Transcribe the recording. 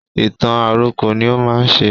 Ìtàn àròkọ ní ó má ń ṣe